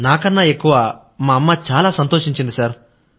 నాకన్నా ఎక్కువ మా అమ్మ చాలా సంతోషించింది సర్